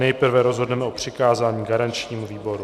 Nejprve rozhodneme o přikázání garančnímu výboru.